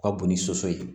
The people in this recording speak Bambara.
Ka bon ni soso ye